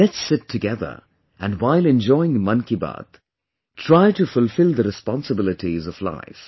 Let's sit together and while enjoying 'Mann Ki Baat' try to fulfill the responsibilities of life